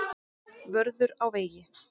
Vörður á vegi.